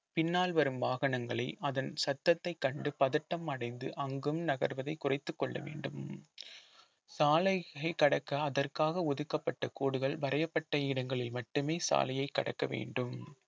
பின்னால் வரும் வாகனங்களை அதன் சத்தத்தை கண்டு பதட்டம் அடைந்து அங்கும் நகர்வதை குறைத்துக் கொள்ள வேண்டும் சாலையை கடக்க அதற்காக ஒதுக்கப்பட்ட கோடுகள் வரையப்பட்ட இடங்களில் மட்டுமே சாலையை கடக்க வேண்டும்